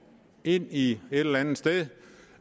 ind i et eller andet sted